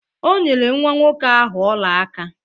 O nyere nwa nwoke ahụ ọla aka.